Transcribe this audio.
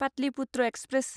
Pataliputra express